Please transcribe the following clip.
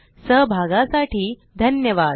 सहभागासाठी धन्यवाद